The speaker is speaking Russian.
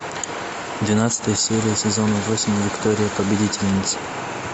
двенадцатая серия сезона восемь виктория победительница